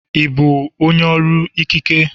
Ị bụ onye ọrụ ikike?